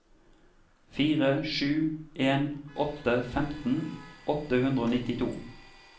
fire sju en åtte femten åtte hundre og nittito